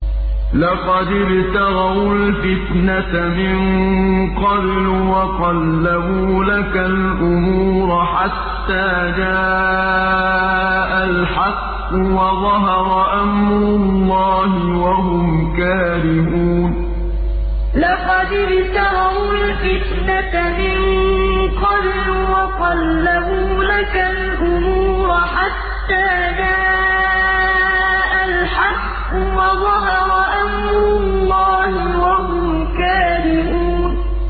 لَقَدِ ابْتَغَوُا الْفِتْنَةَ مِن قَبْلُ وَقَلَّبُوا لَكَ الْأُمُورَ حَتَّىٰ جَاءَ الْحَقُّ وَظَهَرَ أَمْرُ اللَّهِ وَهُمْ كَارِهُونَ لَقَدِ ابْتَغَوُا الْفِتْنَةَ مِن قَبْلُ وَقَلَّبُوا لَكَ الْأُمُورَ حَتَّىٰ جَاءَ الْحَقُّ وَظَهَرَ أَمْرُ اللَّهِ وَهُمْ كَارِهُونَ